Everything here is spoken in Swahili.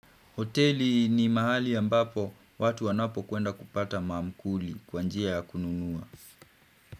Hoteli ni mahali ambapo watu wanapo kwenda kupata maamkuli kwa njia ya kununua.